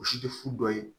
O si tɛ fu dɔ ye